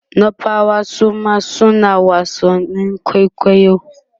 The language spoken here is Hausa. nupawa Suma suna wasannin kwaikwayo